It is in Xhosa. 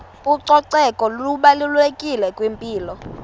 ucoceko lubalulekile kwimpilo